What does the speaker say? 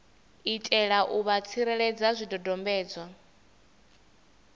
itela u vha tsireledza zwidodombedzwa